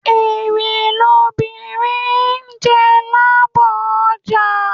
Èrè lobìnrin jẹ lábọ ọjà